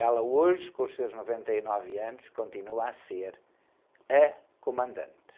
Ela hoje, com os seus noventa e nove anos, continua a ser a comandante.